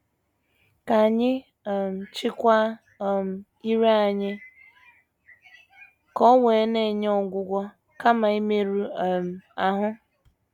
Ka anyị um chịkwaa um ire anyị ka o wee na - enye ọgwụgwọ kama imerụ um ahụ.